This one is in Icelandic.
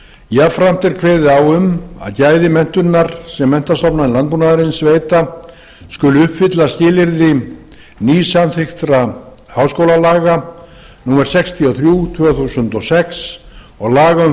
jafnframt er kveðið á um að gæði menntunar sem menntastofnanir landbúnaðarins veita skuli uppfylla skilyrði nýsamþykktra háskólalaga númer sextíu og þrjú tvö þúsund og sex og laga um